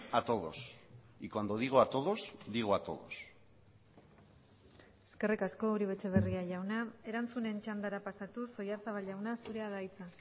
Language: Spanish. a todos y cuando digo a todos digo a todos eskerrik asko uribe etxebarria jauna erantzunen txandara pasatuz oyarzabal jauna zurea da hitza